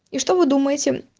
и что вы думаете